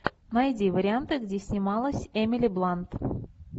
найди варианты где снималась эмили блант